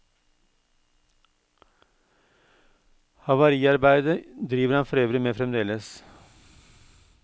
Havariarbeide driver han forøvrig med fremdeles.